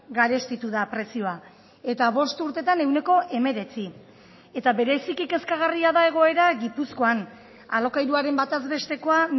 garestitu da prezioa eta bost urtetan ehuneko hemeretzi eta bereziki kezkagarria da egoera gipuzkoan alokairuaren bataz bestekoa